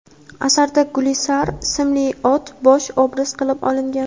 Asarda Gulsari ismli ot bosh obraz qilib olingan.